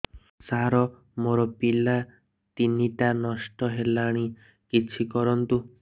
ସାର ମୋର ପିଲା ତିନିଟା ନଷ୍ଟ ହେଲାଣି କିଛି କରନ୍ତୁ